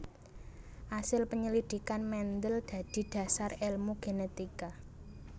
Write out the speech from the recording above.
Asil penyelidikan Mendel dadi dhasar èlmu genetika